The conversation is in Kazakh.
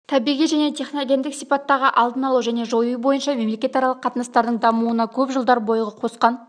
табиғи және техногендік сипаттағы алдын алу және жою бойынша мемлекетаралық қатынастардың дамуына көп жылдар бойғы қосқан